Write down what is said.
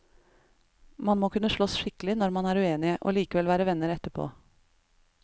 Man må kunne sloss skikkelig når man er uenige, og likevel være venner etterpå.